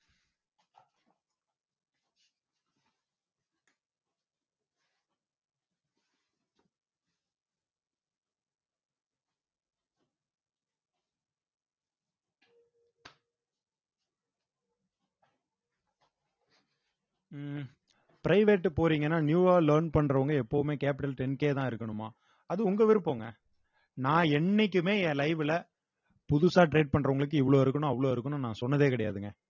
உம் private போறீங்கன்னா new ஆ learn பண்றவங்க எப்பவுமே capital ten K தான் இருக்கணுமா அது உங்க விருப்பம்ங்க நான் என்னைக்குமே என் live ல புதுசா trade பண்றவங்களுக்கு இவ்வளவு இருக்கணும் அவ்வளவு இருக்கணும் நான் சொன்னதே கிடையாதுங்க